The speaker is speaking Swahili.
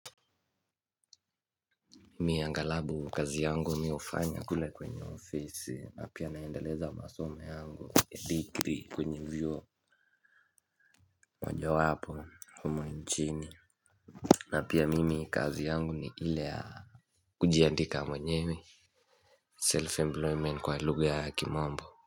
Mi angalabu kazi yangu ni ufanya kule kwenye office na pia naendeleza masome yangu degre kwenye vyuo. Moja wapo humo nchini. Na pia mimi kazi yangu ni ile. Kujiandika mwenyewe Self-employment kwa ilugha ya kimwambo.